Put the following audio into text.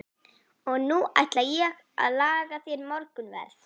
Og nú ætla ég að laga þér morgunverð.